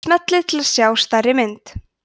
smellið til að sjá stærri mynd